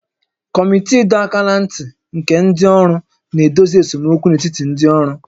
Kọmiti ịdọ aka ná ntị nke ndị ọrụ na-edozi esemokwu n'etiti ndị ọrụ